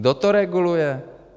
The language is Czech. Kdo to reguluje?